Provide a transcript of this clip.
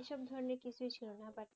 এসব ধরনের কিছুই ছিলনা but